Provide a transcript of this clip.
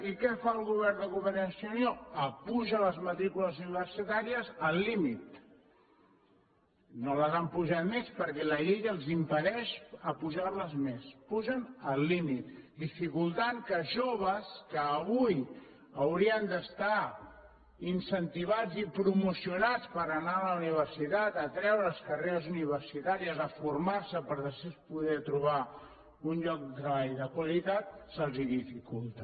i què fa el govern de convergència i unió apuja les matrícules universitàries al límit no les han apujades més perquè la llei els impedeix apujar les més les apugen a límit cosa que dificulta que els joves que avui haurien d’estar incentivats i promocionats per anar a la universitat a treure’s carreres universitàries a formar se per així poder trobar un lloc de treball de qualitat se’ls ho dificulta